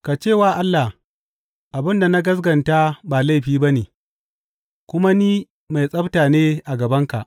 Ka ce wa Allah, Abin da na gaskata ba laifi ba ne kuma ni mai tsabta ne a gabanka.’